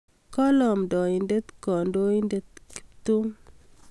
Kale amndaindet kandoindet Ptum